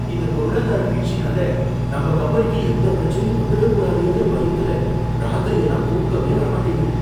இந்த பொருளாதார வீழ்ச்சினால நம்ம கம்பெனிக்கு எந்த பிரச்சனையும் வந்துடக்கூடாதேங்குற பயத்துல ராத்திரி எல்லாம் தூக்கமே வர மாட்டேங்குது.